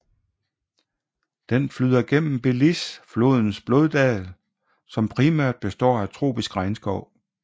Den flyder gennem Belize flodens floddal som primært består af tropisk regnskov